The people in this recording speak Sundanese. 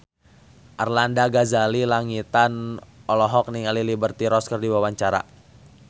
Arlanda Ghazali Langitan olohok ningali Liberty Ross keur diwawancara